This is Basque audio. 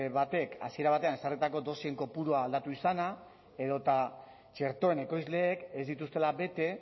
batek hasiera batean ezarritako dosien kopurua aldatu izana edota txertoen ekoizleek ez dituztela bete